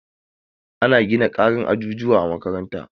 Ana gina ƙarin ajujuwa a makarantar.